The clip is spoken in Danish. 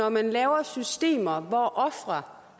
at man laver systemer hvor ofre har